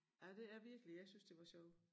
Ej det er virkelig jeg syntes det var sjovt